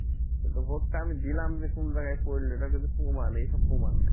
কিন্তু vote টা আমি দিলাম যে কোন জায়গায় পড়লো এটা কিন্তু এসব প্রমাণ নেই এমন একটা অবস্থা